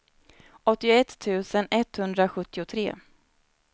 åttioett tusen etthundrasjuttiotre